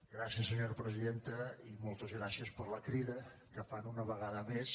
gràcies senyora presidenta i moltes gràcies per la crida que fan una vegada més